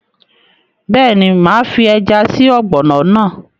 Bẹ́ẹ̀ni, máa fi ẹja sí ọ̀gbọ̀nọ̀ náà